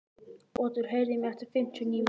Otur, heyrðu í mér eftir fimmtíu og níu mínútur.